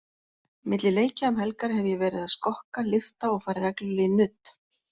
Milli leikja um helgar hef ég verið að skokka, lyfta og farið reglulega í nudd.